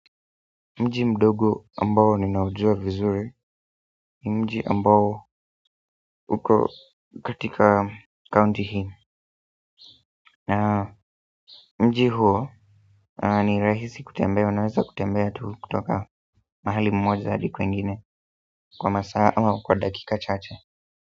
Mji mdogo ambao ninaujua vizuri ni mji ambao uko katika county hill na mji huo ni rahisi kutembea unaweza kutembea tu kutoka mahali mmoja hadi kwengine kwa masaa ama kwa dakika chache.